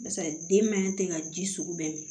Barisa den mɛ ten ka ji sugu bɛɛ min